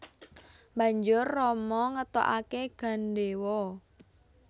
Banjur Rama ngetokake gandewa